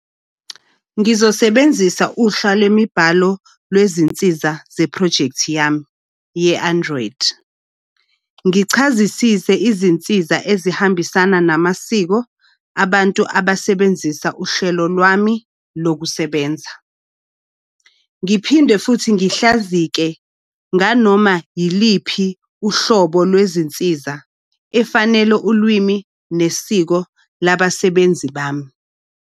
Ngizosebenzisa uhla lwemibhalo lwezinsiza zephrojekthi yami ye-Andriod. Ngichazisise izinsiza ezihambisana namasiko abantu abasebenzisa uhlelo lwami lokusebenza. Ngiphinde futhi ngihlazike nganoma yiliphi uhlobo lwezinsiza efanele ulwimi nesiko labasebenzi bami.